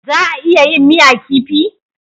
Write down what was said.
Za a iya yin miya kifi?